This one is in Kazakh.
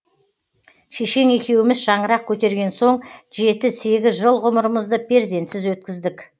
шешең екеуіміз шаңырақ көтерген соң жеті сегіз жыл ғұмырымызды перзентсіз өткіздік